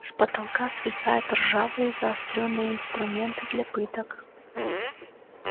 с потолка свисают ржавые заострённые инструменты для пыток